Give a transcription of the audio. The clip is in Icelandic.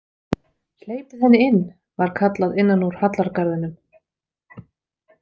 Hleypið henni inn, var kallað innan úr hallargarðinum.